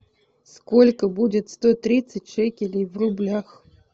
сколько будет сто тридцать шекелей в рублях